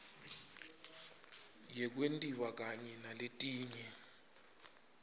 yekwentiwa kanye naletinye